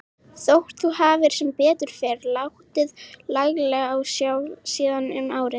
Þótt þú hafir sem betur fer látið laglega á sjá síðan um árið.